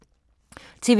TV 2